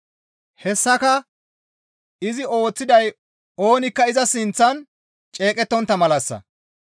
Hessaka izi ooththiday oonikka iza sinththan ceeqettontta malassa.